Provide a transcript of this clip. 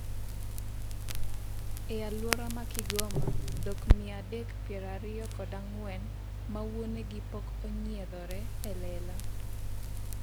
e alwora ma Kigoma dhok mia adek piero ariyo kod ang'wen ma wuonegi pok onyiedhore e lela